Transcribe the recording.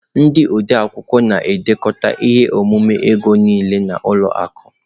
Ndị odeakwụkwọ na-edekọ ihe omume ego niile na ụlọ akụ.